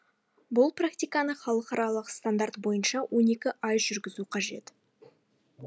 бұл практиканы халықаралық стандарт бойынша он екі ай жүргізу қажет